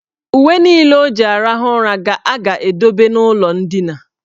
Uwe niile o ji arahụ ụra ga a ga-edobe n' ụlọ ndina.